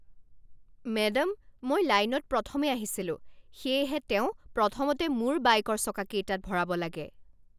Madam, মই লাইনত প্ৰথমে আহিছিলোঁ, সেয়েহে তেওঁ প্ৰথমতে মোৰ বাইকৰ চকাকেইটাত ভৰাব লাগে।